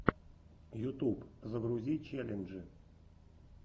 ютуб загрузи челленджи